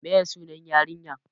Me ye sunan yarinyar?